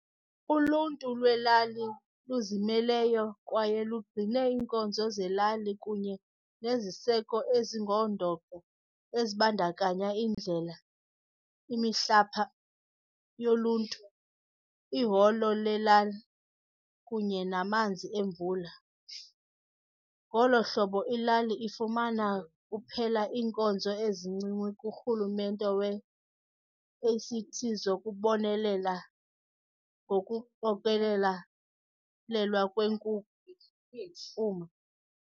Uluntu lwelali luzimeleyo kwaye lugcine iinkonzo zelali kunye neziseko ezingundoqo ezibantakanya iindlela, imihlapa yoluntu, iholo lelali, kunye namanzi emvula. Ngolo hlobo ilali ifumana kuphela iinkonzo ezincinci kuRhulumente weACT zokubonelela ngokuqokelela lelwa kwenkunkuma.